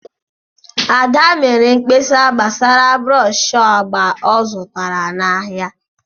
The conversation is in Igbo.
Ada mere mkpesa gbasara brọsh agba ọ zụtara n'ahịa ahụ.